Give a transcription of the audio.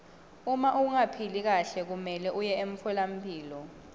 uma ungaphili kahle kumelwe uye emtfolampilo